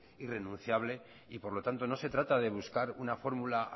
irrenunciable y por lo tanto no se trata de buscar una fórmula